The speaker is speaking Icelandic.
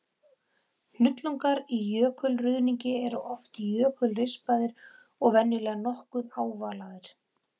Hnullungar í jökulruðningi eru oft jökulrispaðir og venjulega nokkuð ávalaðir.